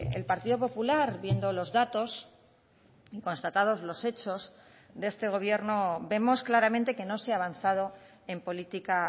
el partido popular viendo los datos constatados los hechos de este gobierno vemos claramente que no se ha avanzado en política